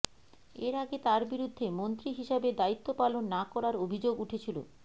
এর আগে তাঁর বিরুদ্ধে মন্ত্রী হিসাবে দায়িত্ব পালন না করার অভিযোগ উঠেছিল